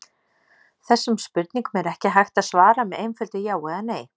Þessum spurningum er ekki hægt að svara með einföldu já eða nei.